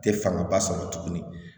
Tɛ fangaba sɔrɔ tuguni